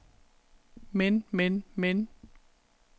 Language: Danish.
men men men